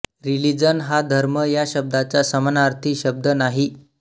religion हा धर्म या शब्दाचा समानार्थी शब्द नाही